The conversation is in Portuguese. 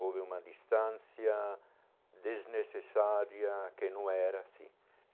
Houve uma distância desnecessária que não era assim.